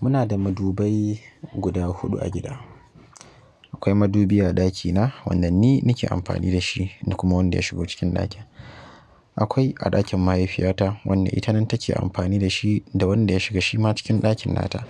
Muna da madubai guda huɗu a gida. Akwai madubi a ɗakina wanda ni nake amfani da shi da kuma wanda ya shigo cikin ɗakin. Akwai a ɗakin mahaifiyata wanda ita ce take amfani da shi da wanda ya shiga shi ma cikin ɗakin nata.